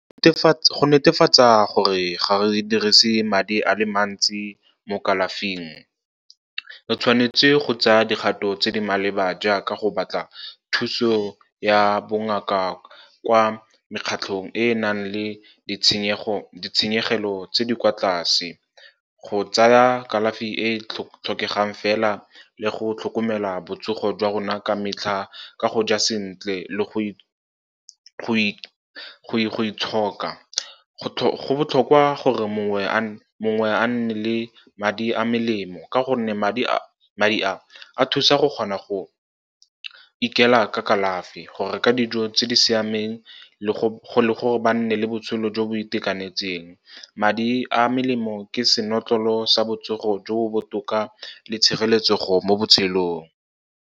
Go netefatsa gore ga re dirise madi a le mantsi mo kalafing, re tshwanetse go tsaya dikgato tse di maleba jaaka go batla thuso ya bongaka kwa mekgatlhong e e nang le ditshenyegelo tse di kwa tlase, go tsaya kalafi e e tlhokegang fela, le go tlhokomela botsogo jwa rona ka metlha ka go ja sentle le go itshoka. Go botlhokwa gore mongwe a nne le madi a melemo, ka gonne madi a a thusa go kgona go ikela ka kalafi, go reka dijo tse di siameng le gore ba nne le botshelo jo bo itekanetseng. Madi a melemo ke senotlolo sa botsogo jo bo botoka le tshireletsego mo botshelong.